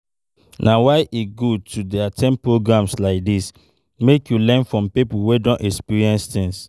Na why e good to dey at ten d programs like dis, make you hear from people wey don experience things